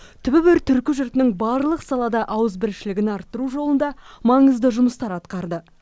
түбі бір түркі жұртының барлық салада ауызбіршілігін арттыру жолында маңызды жұмыстар атқарды